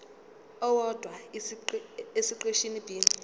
owodwa esiqeshini b